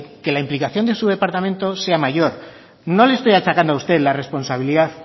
que la implicación de su departamento sea mayor no le estoy achacando a usted la responsabilidad